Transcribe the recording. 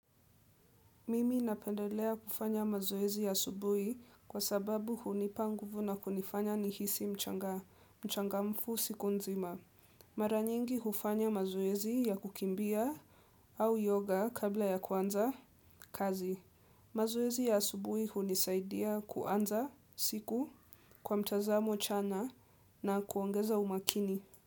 Mimi napendelea kufanya mazoezi ya asubuhi kwa sababu hunipanguvu na kunifanya nihisi mchangamfu siku nzima. Mara nyingi hufanya mazoezi ya kukimbia au yoga kabla ya kuanza kazi. Mazoezi ya asubuhi hunisaidia kuanza siku kwa mtazamo chana na kuongeza umakini.